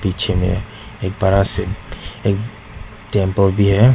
पीछे में एक बड़ा से एक टेम्पल भी है।